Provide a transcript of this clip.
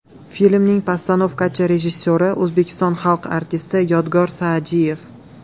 Filmning postanovkachi rejissyori O‘zbekiston xalq artisti Yodgor Sa’diev.